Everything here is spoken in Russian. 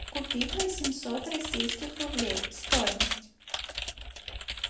купить восемьсот российских рублей стоимость